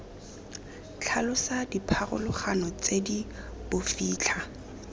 tlhalosa dipharologano tse di bofitlha